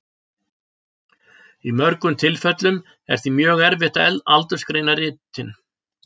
Í mörgum tilfellum er því mjög erfitt að aldursgreina ritin.